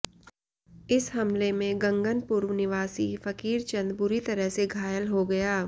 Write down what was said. इस हमले में गंगनपुर निवासी फकीरचंद बुरी तरह से घायल हो गया